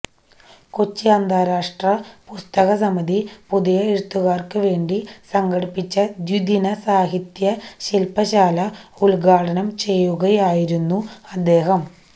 കൊച്ചി അന്താരാഷ്ട്ര പുസ്തക സമിതി പുതിയ എഴുത്തുകാര്ക്കു വേണ്ടി സംഘടിപ്പിച്ച ദ്വിദിന സാഹിത്യ ശില്പശാല ഉദ്ഘാടനം ചെയ്യുകയായിരുന്നു അദ്ദേഹം